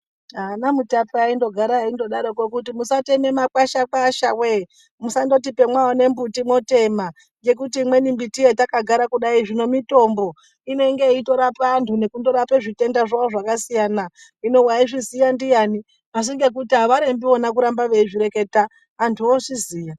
Ana mutape aindodaroko musatema makwasha-kwasha voye mundoti pamaona mbuti motema. Ngekuti imweni mbiti hetakagara kudai zvino mitombo inenge yeitorapa antu nekundorapa zvitenda zvavo zvakasiyana. Hino vaizvizviya ndiani asi ngekuti harembi vona kuramba veizvireketa antu vozviziya.